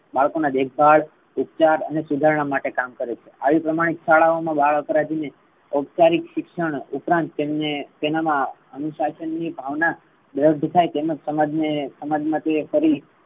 બાળકોના દેખભાળ ઉપચાર અને સુધારણા માટે કામ કરે છે. આવી પ્રામાણિક શાળાઓ મા બાળ અપરાધી ને ઉપચારિક શિક્ષણ ઉપરાંત તેમને તેનામા અનુશાસન ની ભાવના દ્રઢ થાય. તેમજ સમાજ ને સમાજ માટે